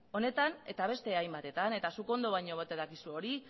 honetan eta beste hainbatetan eta zuk ondo baino hobeto dakizu hori